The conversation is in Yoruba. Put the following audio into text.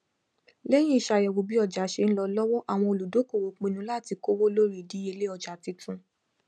lẹyìn ìṣàyẹwò bí ọjà ṣe ń lọ lọwọ àwọn olùdókòwò pinnu láti kówó lórí ìdíyelé ọjà titun